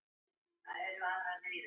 Og hvenær?